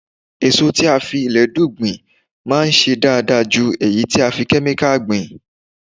Èso tí a fi ilẹ̀dú gbìn máa ń ṣe dáadáa ju èyí tí a fi Kẹ́míkà gbìn.